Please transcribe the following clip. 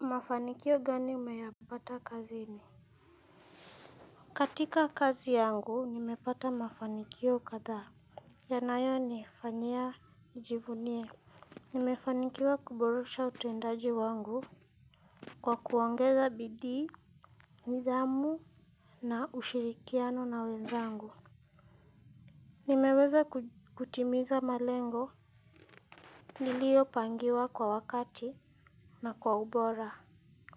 Mafanikio gani umeyapata kazini? Katika kazi yangu, nimepata mafanikio kathaa. Yanayo nifanyia nijivunie. Nimefanikiwa kuboresha utendaji wangu kwa kuongeza bidii. Nidhamu na ushirikiano na wenzangu. Nimeweza kutimiza malengo. Niliyopangiwa kwa wakati na kwa ubora.